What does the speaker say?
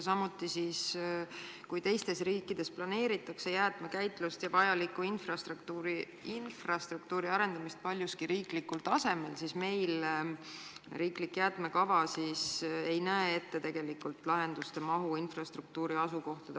Samuti ütleb ta, et kui teistes riikides planeeritakse jäätmekäitlust ja vajaliku infrastruktuuri arendamist paljuski riiklikul tasemel, siis meil riiklik jäätmekava ei näe ette infrastruktuuri lahendusi, mis puudutaksid asukohti.